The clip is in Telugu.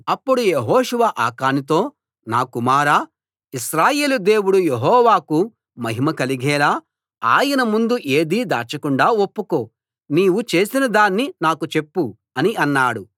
అప్పుడు యెహోషువ ఆకానుతో నా కుమారా ఇశ్రాయేలు దేవుడు యెహోవాకు మహిమ కలిగేలా ఆయన ముందు ఏదీ దాచకుండా ఒప్పుకో నీవు చేసినదాన్ని నాకు చెప్పు అని అన్నాడు